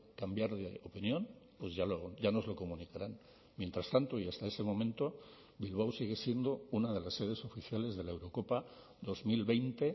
cambiar de opinión pues ya nos lo comunicarán mientras tanto y hasta ese momento bilbao sigue siendo una de las sedes oficiales de la eurocopa dos mil veinte